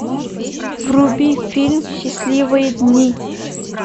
вруби фильм счастливые дни